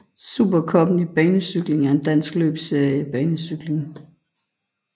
Supercuppen i banecykling er en dansk løbsserie i banecykling